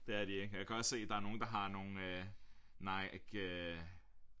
Det er de ikke jeg kan også se der er nogen der har nogle øh Nike øh